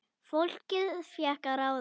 Fólkið fékk að ráða.